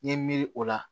N ye miiri o la